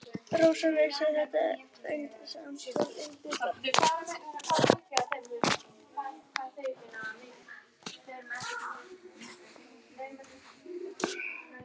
Rósa vissi þetta en reyndi samt að einbeita sér.